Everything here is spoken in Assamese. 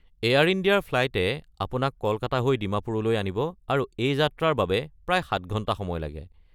এয়াৰ ইণ্ডিয়াৰ ফ্লাইটে আপোনাক কলকাতা হৈ ডিমাপুৰলৈ আনিব আৰু এই যাত্ৰাৰ বাবে প্ৰায় ৭ ঘণ্টা সময় লাগে।